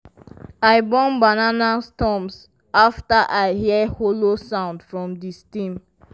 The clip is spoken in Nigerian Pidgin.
i burn banana stumps after i hear hollow sound from di stem.